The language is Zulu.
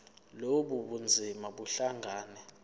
lobu bunzima buhlangane